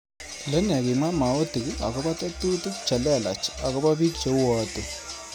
lenee kwimwamotik akobo tetutik che lelach akobo biik cheuwoti